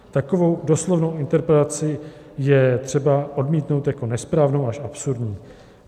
Takovou doslovnou interpretaci je třeba odmítnout jako nesprávnou až absurdní.